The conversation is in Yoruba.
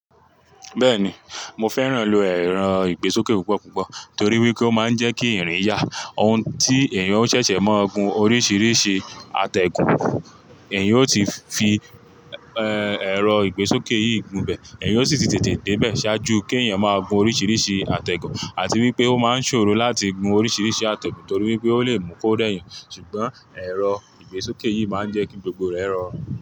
Bẹ́ẹ̀ni, mo fẹ́ràn àwọn ẹ̀rọ ìgbésókè púpọ̀ púpọ̀ torí wípé ó máa ń jẹ́ kí irin yà ohun tí èèyàn o ṣẹ̀ṣẹ̀ máa gun oríṣìíríṣìí àtẹ̀gùn, èèyàn ó ti fi, ẹ́, ẹ̀rọ ìgbésókè yìí gùn bẹ́ẹ̀, èèyàn ó sì ti tètè dé bẹ́ẹ̀ ṣáájú kí ẹ̀yàn máa gun oríṣìíríṣìí àtẹ̀gùn àti wípé ó máa ń ṣòro láti gun oríṣìíríṣìí àtẹ̀gùn torí wípé ó lè mú kó rẹ̀ eeyan ṣùgbọ́n ẹ̀rọ ìgbésókè yìí máa ń jẹ́ kí gbogbo rẹ rọ̀run.